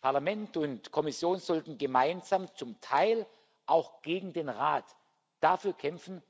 Parlament und Kommission sollten gemeinsam, zum Teil auch gegen den Rat, dafür kämpfen,